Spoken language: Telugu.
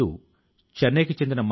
మరి ఆ దిశ లో పని చేయండి